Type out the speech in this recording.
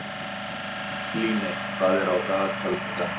Líney, hvað er í dagatalinu í dag?